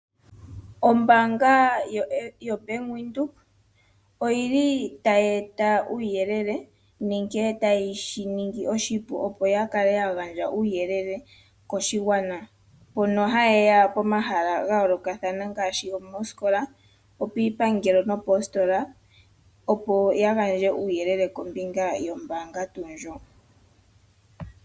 Ombaanga yoBank Windhoek oyili tayi eta uuyelele nenge tayishi ningi oshipu opo ya kale ya gandja uuyelele koshigwana mpono haye ya pomahala gayoolokathana ngaashi moosikola, piipangelo nomoositola opo ya gandje uuyelele kombinga yombaanga tuu ndjoka.